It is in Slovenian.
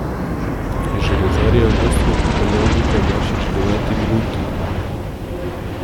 Železarje je v vodstvo popeljal Luka Bašič v deveti minuti.